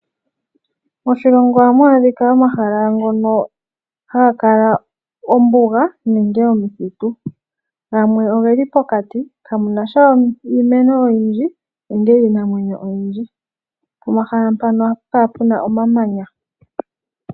Moshilongo ohamu adhika omahala ngono haga kala ombuga nenge omithitu gamwe oge li pokati kamu nasha iimeno oyindji nenge iinamwenyo oyindji pomahala mpano ohapu kala pu na omamanya.